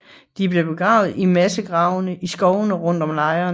De blev begravet i massegrave i skovene rundt om lejren